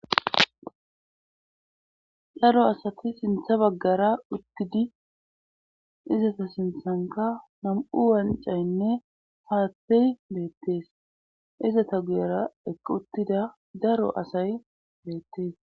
daro asati sinthe baggara uttidi izetu sinthankka nam7u wanccaynne haathey beettes;izeta guyerakka uttida daro asay beettes.